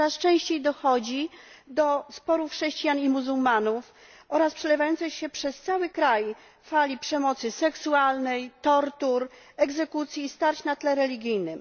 Coraz częściej dochodzi do sporów chrześcijan i muzułmanów oraz przelewającej się przez cały kraj fali przemocy seksualnej, tortur, egzekucji i starć na tle religijnym.